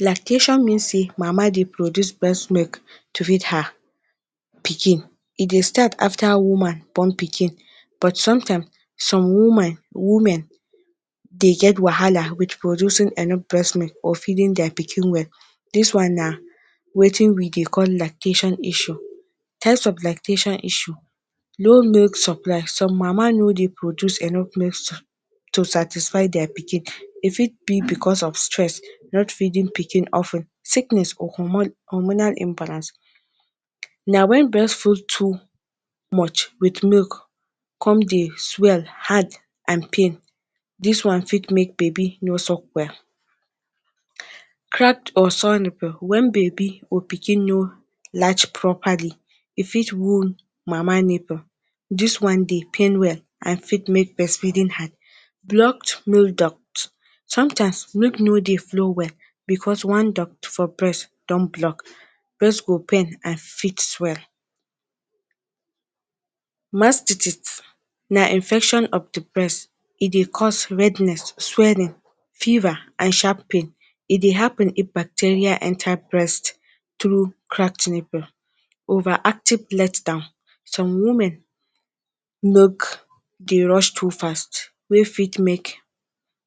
Lactation mean sey mama dey produce breast milk to feed her pikin. E dey start after woman born pikin but sometimes some woman women dey get wahala with producing enough breast milk or feeding dia pikin well, dis one na wetin we dey call lactation issue. Types of lactation issue; low milk supply- some mama no dey produce enough milk so to satisfy dia pikin e fit be because of stress, not feeding pikin of ten. Sickness or hormonal imbalance- na when breast come full too much with milk come dey swell, hard and pin dis wan fit make baby no suck well. Cracked or sour nipple- when baby or pikin no properly, e fit wound mama nipple, dis one the pain well and fit make breast feeding hard. Blocked milk duct- sometimes milk no dey flow well because one duct for breast don block, breast go pain and fit well. Mastitis- na infection of the breast, e dey cause redness, swelling, fever and sharp pain, e dey happen if bacteria enter breast through cracked nipple. Over-active letdown- some women milk dey rush too fast wey fit make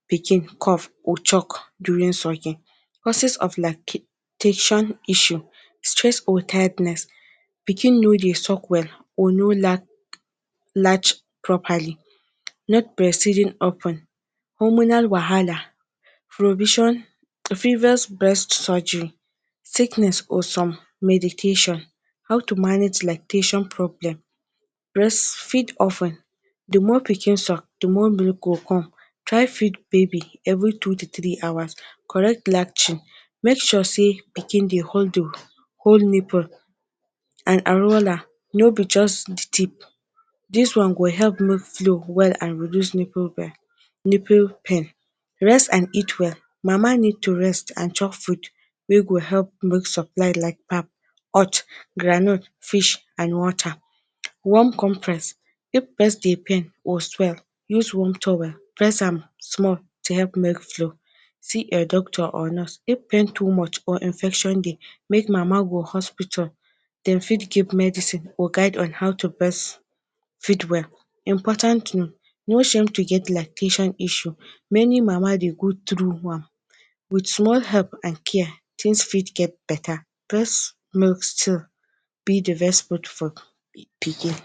pikin cough or choke during sucking. Causes of lactation issue; stress or tiredness, pikin no dey suck well or no large properly, not breast feeding of ten, hormonal wahala, provision previous breast surgery, sickness or some medication. How to manage lactation problem; feed oftrn- the more pikin suck, the more milk go come, try feed baby every two to three hours. Correct lacting- make sure sey pikin dey hold nipple and areola no be just the tip, dis one go help milk flow well and reduce nipple pain nipple pain. Rest and eat well- mama need to rest and chop food wey go help milk supply like pap, nut, groundnut, fish and water. Warm - if breast dey pain or swell use warm towel brest am small to help milk flow. See a doctor or nurse- if pain too much or infection dey make mama go hospital, dem fit give medicine or guide on how to breast feed well. Important note- no shame to get lactation issue, many mama dey go through am with small help and care things fit get better. Breast milk still be the best food for pikin.